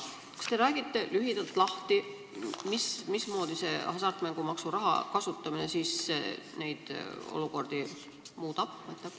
Kas te räägite lühidalt lahti, mismoodi hasartmängumaksu raha kasutamine neid olukordi muudab?